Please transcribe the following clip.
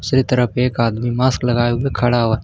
दूसरे तरफ एक आदमी मास्क लगाए हुए खड़ा हुआ है।